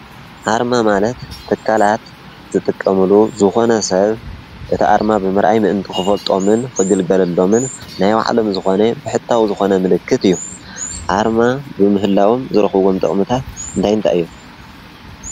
ኣርማ ማለት ተካላት ዝጥቀምሉ ዝኾነ ሰብ እቲ ኣርማ ብምርኣይ ምእንቲ ኽፈልጦምን ኽግልገለሎምን ናይ ባዕሎም ዝኾነ ብሕታዊ ዝኾነ ምልክት እዩ፡፡ ኣርማ ብምህላዎም ዝረኽብዎም ጥቕምታት እንታይ እንታይ እዮም?